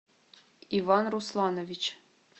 иван русланович